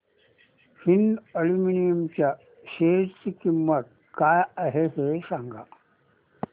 Hind aluminium च्या share ची किंमत काय आहे हे सांगा